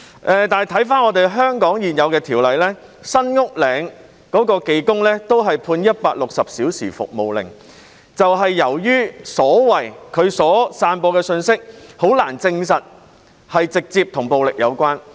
可是，回顧香港現有的條例，在網上呼籲包圍新屋嶺的技工都只是被判160小時社會服務令，這便是由於他散播的信息難以證實直接與暴力有關。